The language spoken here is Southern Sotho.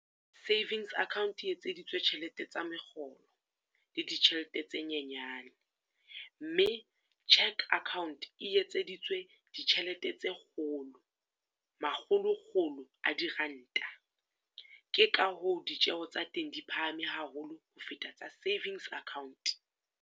Savings account e etseditswe tjhelete tsa mekgolo, le ditjhelete tse nyenyane. Mme cheque account e etseditswe ditjhelete tse kgolo, makgolokgolo a diranta. Ke ka hoo ditjeho tsa teng di phahame haholo ho feta tsa savings account.